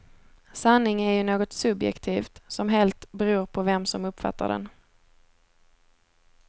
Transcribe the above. Sanning är ju något subjektivt som helt beror på vem som uppfattar den.